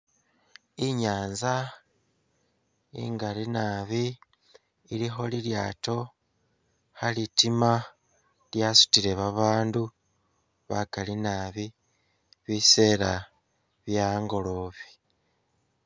Inyanza ingali nabi ilikho lilyaato khalitima lyasutile babandu bakali nabi, bisela bye angolobe